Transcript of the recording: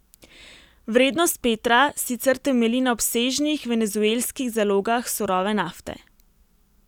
Vrednost Petra sicer temelji na obsežnih venezuelskih zalogah surove nafte.